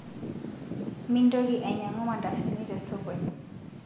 Mintoki aingangu mandasini tesokoni